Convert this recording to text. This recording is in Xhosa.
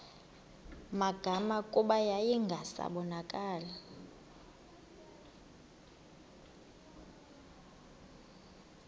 magama kuba yayingasabonakali